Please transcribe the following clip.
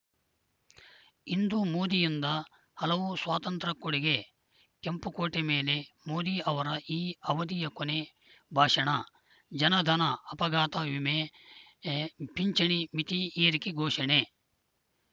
ಇಂದು ಮೋದಿಯಿಂದ ಹಲವು ಸ್ವಾತಂತ್ರ್ಯ ಕೊಡುಗೆ ಕೆಂಪುಕೋಟೆ ಮೇಲೆ ಮೋದಿ ಅವರ ಈ ಅವಧಿಯ ಕೊನೆ ಭಾಷಣ ಜನಧನ ಅಪಘಾತ ಮಿಮೆ ಪಿಂಚಣಿ ಮಿತಿ ಏರಿಕೆ ಘೋಷಣೆ